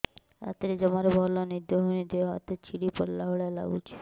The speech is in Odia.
ରାତିରେ ଜମାରୁ ଭଲ ନିଦ ହଉନି ଦେହ ହାତ ଛିଡି ପଡିଲା ଭଳିଆ ଲାଗୁଚି